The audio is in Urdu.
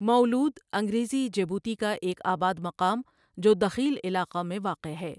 مؤلؤد انگریزی جبوتی کا ایک آباد مقام جو دخیل علاقہ میں واقع ہے ۔